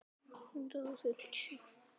Enginn að segja djók?